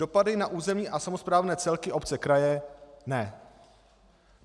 Dopady na územní a samosprávné celky, obce, kraje - ne.